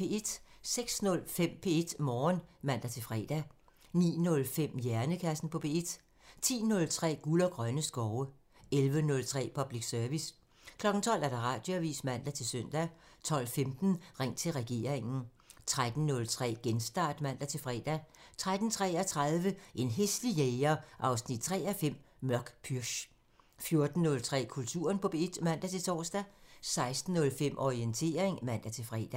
06:05: P1 Morgen (man-fre) 09:05: Hjernekassen på P1 (man) 10:03: Guld og grønne skove (man) 11:03: Public Service (man) 12:00: Radioavisen (man-søn) 12:15: Ring til regeringen (man) 13:03: Genstart (man-fre) 13:33: En hæslig jæger 3:5 – Mørk pürch 14:03: Kulturen på P1 (man-tor) 16:05: Orientering (man-fre)